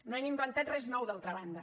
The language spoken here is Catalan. no hem inventat res nou d’altra banda